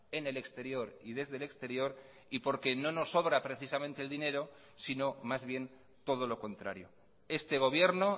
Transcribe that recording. en el exterior y desde el exterior y porque no nos sobra precisamente el dinero sino más bien todo lo contrario este gobierno